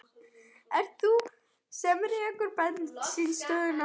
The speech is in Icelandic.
Ert það þú sem rekur bensínstöðina?